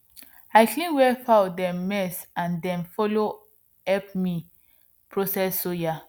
i clean where fowl dem mess and dem follow help me process soya